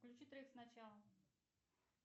включи трек сначала